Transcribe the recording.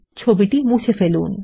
ছবিটি মুছে ফেলুন